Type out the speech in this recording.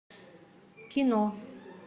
кино